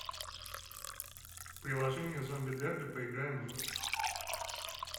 приложение зомби дерби поиграем в